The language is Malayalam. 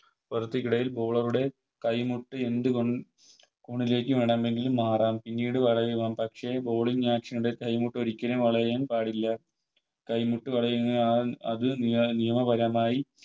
ക്കിടയിൽ Bowler ടെ കൈ മുട്ട് വേണമെങ്കിലും മാറാം പിന്നീട് വളയാം പക്ഷെ Bowling action ൽ കൈമുട്ടോരിക്കലും വളയാൻ പാടില്ല കൈമുട്ട് വളയുന്നത് ആ അത് നിയ നിയമപരമായി